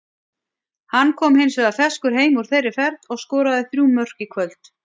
Hann kom hins vegar ferskur heim úr þeirri ferð og skoraði þrjú mörk í kvöld.